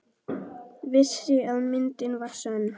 Vissi að myndin var sönn.